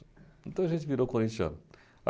Então, a gente virou corintiano.